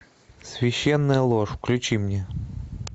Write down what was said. священная ложь включи мне